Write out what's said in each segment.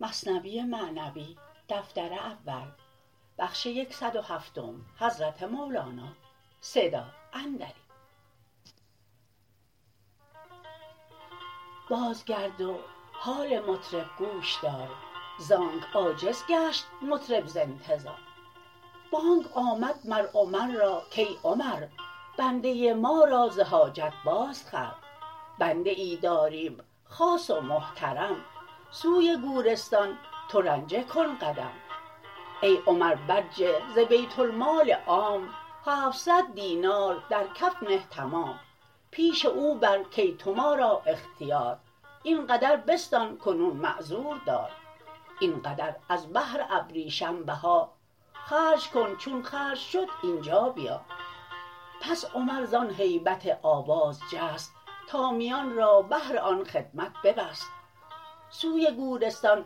باز گرد و حال مطرب گوش دار زانک عاجز گشت مطرب ز انتظار بانگ آمد مر عمر را کای عمر بنده ما را ز حاجت باز خر بنده ای داریم خاص و محترم سوی گورستان تو رنجه کن قدم ای عمر برجه ز بیت المال عام هفتصد دینار در کف نه تمام پیش او بر کای تو ما را اختیار این قدر بستان کنون معذور دار این قدر از بهر ابریشم بها خرج کن چون خرج شد اینجا بیا پس عمر زان هیبت آواز جست تا میان را بهر این خدمت ببست سوی گورستان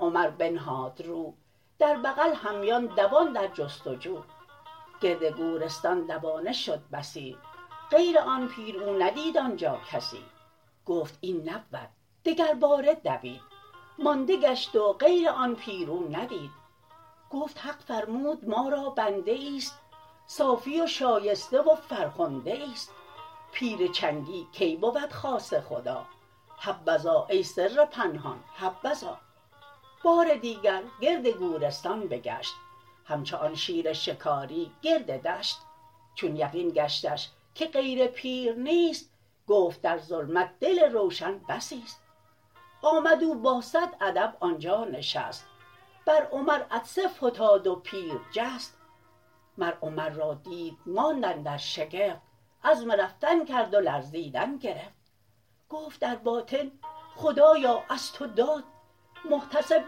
عمر بنهاد رو در بغل همیان دوان در جست و جو گرد گورستان دوانه شد بسی غیر آن پیر او ندید آنجا کسی گفت این نبود دگر باره دوید مانده گشت و غیر آن پیر او ندید گفت حق فرمود ما را بنده ایست صافی و شایسته و فرخنده ایست پیر چنگی کی بود خاص خدا حبذا ای سر پنهان حبذا بار دیگر گرد گورستان بگشت همچو آن شیر شکاری گرد دشت چون یقین گشتش که غیر پیر نیست گفت در ظلمت دل روشن بسی است آمد او با صد ادب آنجا نشست بر عمر عطسه فتاد و پیر جست مر عمر را دید ماند اندر شگفت عزم رفتن کرد و لرزیدن گرفت گفت در باطن خدایا از تو داد محتسب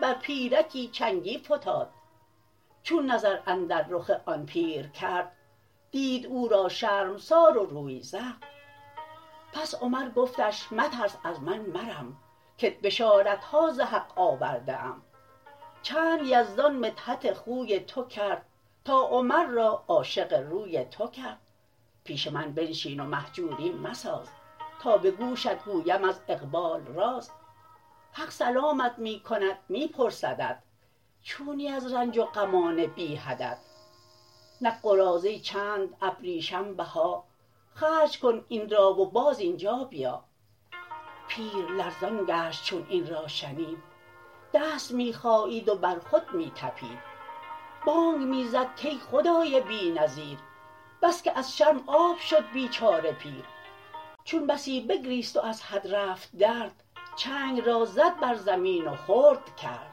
بر پیرکی چنگی فتاد چون نظر اندر رخ آن پیر کرد دید او را شرمسار و روی زرد پس عمر گفتش مترس از من مرم که ت بشارتها ز حق آورده ام چند یزدان مدحت خوی تو کرد تا عمر را عاشق روی تو کرد پیش من بنشین و مهجوری مساز تا به گوشت گویم از اقبال راز حق سلامت می کند می پرسدت چونی از رنج و غمان بی حدت نک قراضه چند ابریشم بها خرج کن این را و باز اینجا بیا پیر لرزان گشت چون این را شنید دست می خایید و بر خود می طپید بانگ می زد کای خدای بی نظیر بس که از شرم آب شد بیچاره پیر چون بسی بگریست و از حد رفت درد چنگ را زد بر زمین و خرد کرد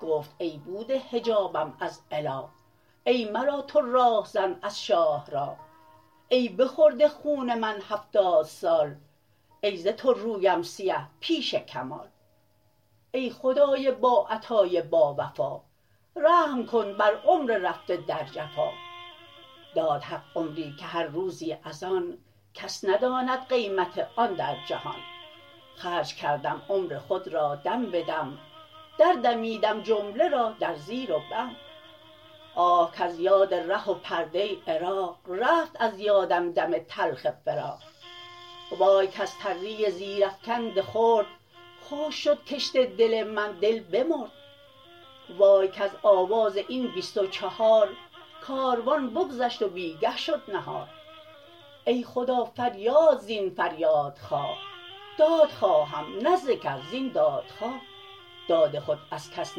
گفت ای بوده حجابم از اله ای مرا تو راه زن از شاه راه ای بخورده خون من هفتاد سال ای ز تو رویم سیه پیش کمال ای خدای با عطای با وفا رحم کن بر عمر رفته در جفا داد حق عمری که هر روزی از آن کس نداند قیمت آن در جهان خرج کردم عمر خود را دم بدم در دمیدم جمله را در زیر و بم آه کز یاد ره و پرده عراق رفت از یادم دم تلخ فراق وای کز تری زیر افکند خرد خشک شد کشت دل من دل بمرد وای کز آواز این بیست و چهار کاروان بگذشت و بیگه شد نهار ای خدا فریاد زین فریادخواه داد خواهم نه ز کس زین دادخواه داد خود از کس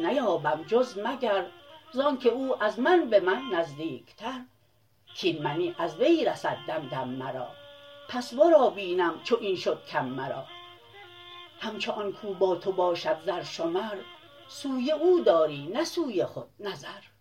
نیابم جز مگر زانک او از من به من نزدیکتر کاین منی از وی رسد دم دم مرا پس ورا بینم چو این شد کم مرا همچو آن کو با تو باشد زرشمر سوی او داری نه سوی خود نظر